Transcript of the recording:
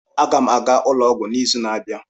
Aga m aga ụlọ ọgwụ n'izu na-abịa.